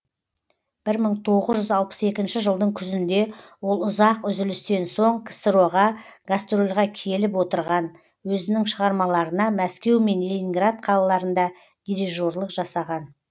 бір мың тоғыз жүз алпыс екінші жылдың күзінде ол ұзақ үзілістен соң ксро ға гастрольға келіп отырған өзінің шығармаларына мәскеу мен ленинград қалаларында дирижерлік жасаған